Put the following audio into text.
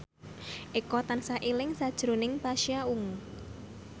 Eko tansah eling sakjroning Pasha Ungu